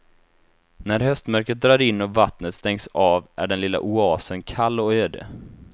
När höstmörkret drar in och vattnet stängs av är den lilla oasen kall och öde.